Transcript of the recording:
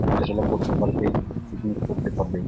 হাঁটাচলা করতে পারবে পিকনিক করতে পারবে।